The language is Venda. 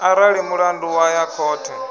arali mulandu wa ya khothe